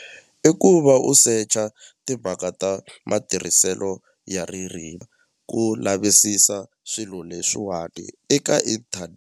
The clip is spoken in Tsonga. I ku va u secha timhaka ta matirhiselo ya ririmi ku lavisisa swilo leswiwani eka .